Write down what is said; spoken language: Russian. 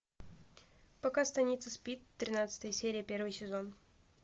пока станица спит тринадцатая серия первый сезон